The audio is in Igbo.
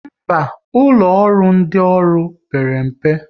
Mba, ụlọ ọrụ ndị ọrụ père mpe